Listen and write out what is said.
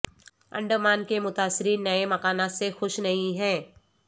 انڈمان کے متاثرین نئے مکانات سے خوش نہیں ہیں